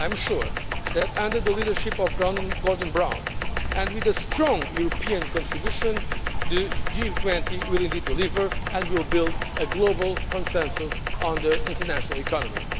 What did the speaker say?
I am sure that, under the leadership of Gordon Brown and with a strong European contribution, the G20 will deliver and will build a global consensus on the international economy.